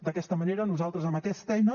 d’aquesta manera nosaltres amb aquesta eina